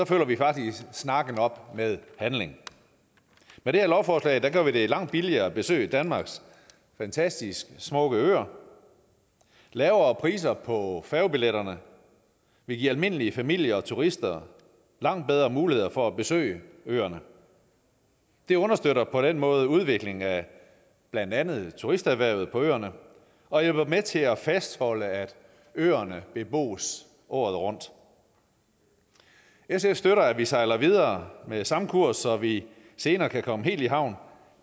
følger vi faktisk snakken op med handling med det her lovforslag gør vi det langt billigere at besøge danmarks fantastisk smukke øer lavere priser på færgebilletterne vil give almindelige familier og turister langt bedre muligheder for at besøge øerne det understøtter på den måde udviklingen af blandt andet turisterhvervet på øerne og hjælper med til at fastholde at øerne bebos året rundt sf støtter at vi sejler videre med samme kurs så vi senere kan komme helt i havn